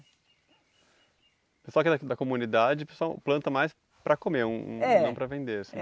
O pessoal aqui da da comunidade pessoal planta mais para comer, é, não para vender assim.